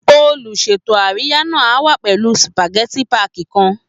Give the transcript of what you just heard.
Olùṣètò àríyá náà á wá pẹ̀lú spageti páàkì kan